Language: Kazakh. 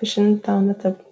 пішін танытып